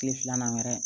Tile filanan wɛrɛ